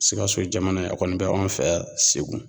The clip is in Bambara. Sikaso jamana ye a kɔni bɛ an fɛ yan segu